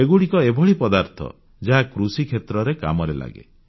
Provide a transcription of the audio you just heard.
ଏଗୁଡ଼ିକ ଏଭଳି ପଦାର୍ଥ ଯାହା କୃଷିକ୍ଷେତ୍ରରେ କାମରେ ଲାଗେ